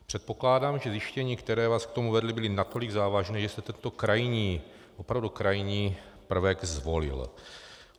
Předpokládám, že zjištění, která vás k tomu vedla, byla natolik závažná, že jste tento krajní, opravdu krajní prvek zvolil.